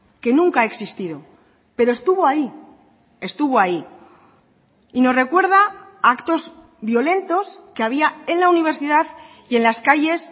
que nunca ha existido pero estuvo ahí estuvo ahí y nos recuerda a actos violentos que había en la universidad y en las calles